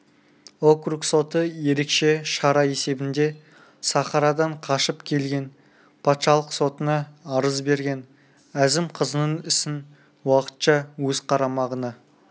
округ соты ерекше шара есебінде сахарадан қашып келген патшалық сотына арыз берген әзім қызының ісін уақытша өз қарамағына